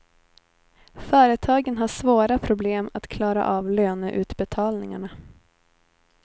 Företagen har svåra problem att klara av löneutbetalningarna.